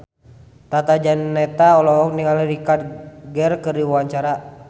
Tata Janeta olohok ningali Richard Gere keur diwawancara